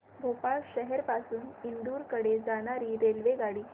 भोपाळ शहर पासून इंदूर कडे जाणारी रेल्वेगाडी